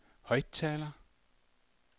højttaler